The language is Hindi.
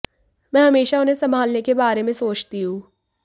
मैं हमेशा उन्हें संभालने के बारे में सोचती हूं